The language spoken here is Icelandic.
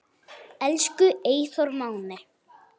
Elsku Eyþór Máni.